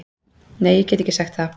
Nei, ég get ekki sagt það.